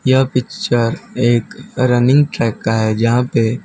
यह पिक्चर एक running track का है जहां पे--